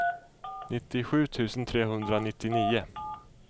nittiosju tusen trehundranittionio